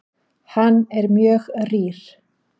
Hann er mjög rýr.